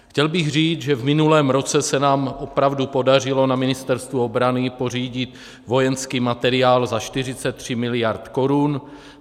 Chtěl bych říct, že v minulém roce se nám opravdu podařilo na Ministerstvu obrany pořídit vojenský materiál za 43 miliard korun.